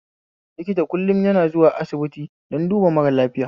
Likta kullm yana zuwa asibiti don duba mara lafiya